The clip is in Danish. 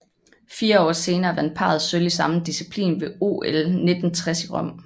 Fire år senere vandt parret sølv i samme disciplin ved OL 1960 i Rom